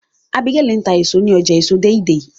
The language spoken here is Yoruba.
Abigael tá èso ní ọjà èso deidei